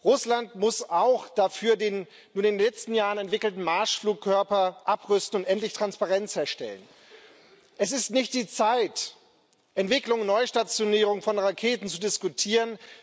Russland muss dafür auch den in den letzten Jahren entwickelten Marschflugkörper abrüsten und endlich Transparenz herstellen. Es ist nicht die Zeit, Entwicklung und Neustationierung von Raketen zu diskutieren.